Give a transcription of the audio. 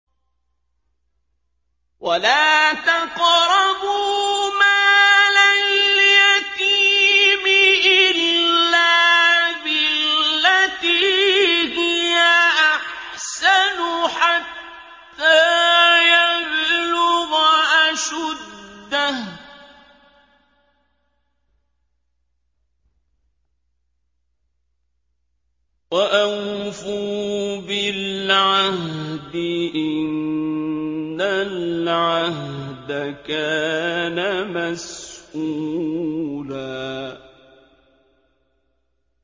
وَلَا تَقْرَبُوا مَالَ الْيَتِيمِ إِلَّا بِالَّتِي هِيَ أَحْسَنُ حَتَّىٰ يَبْلُغَ أَشُدَّهُ ۚ وَأَوْفُوا بِالْعَهْدِ ۖ إِنَّ الْعَهْدَ كَانَ مَسْئُولًا